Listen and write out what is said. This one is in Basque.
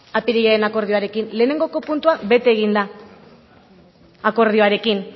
apirilaren akordioarekin lehenengoko puntua bete egin da akordioarekin